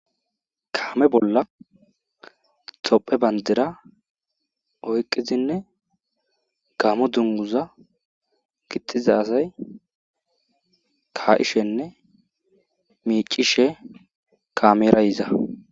Kaame bolla thophe banddira oyqqidzinne gamo dzungguza gixxiza asay kaa7ishenne miiccishe kaamera yiza.